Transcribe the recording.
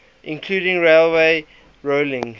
including railway rolling